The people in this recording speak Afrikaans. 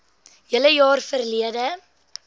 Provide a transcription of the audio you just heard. hele jaar verlede